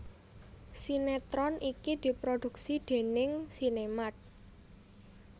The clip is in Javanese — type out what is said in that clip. Sinéetron iki diproduksi déning SinemArt